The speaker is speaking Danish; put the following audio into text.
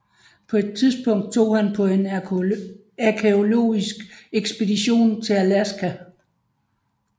På et tidspunkt tog han på en arkæologisk ekspedition til Alaska